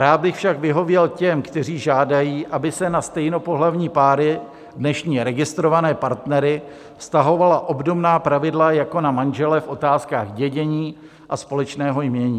Rád bych však vyhověl těm, kteří žádají, aby se na stejnopohlavní páry, dnešní registrované partnery, vztahovala obdobná pravidla jako na manžele v otázkách dědění a společného jmění.